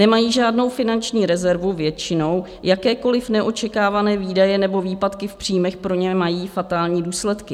Nemají žádnou finanční rezervu většinou, jakékoliv neočekávané výdaje nebo výpadky v příjmech pro ně mají fatální důsledky.